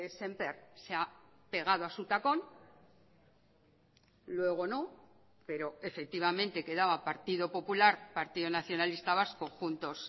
sémper se ha pegado a su tacón luego no pero efectivamente quedaba partido popular partido nacionalista vasco juntos